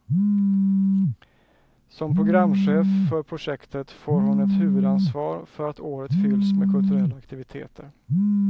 Som programchef för projektet får hon ett huvudansvar för att året fylls med kulturella aktiviteter.